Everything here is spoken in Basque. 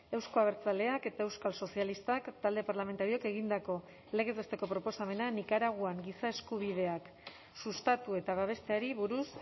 euzko abertzaleak eta euskal sozialistak talde parlamentarioek egindako legez besteko proposamena nikaraguan giza eskubideak sustatu eta babesteari buruz